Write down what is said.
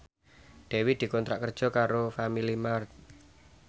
Dewi dikontrak kerja karo Family Mart